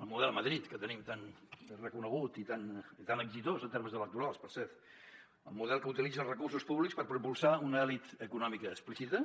el model madrid que tenim tan reconegut i tan exitós en termes electorals per cert el model que utilitza els recursos públics per propulsar una elit econòmica explícita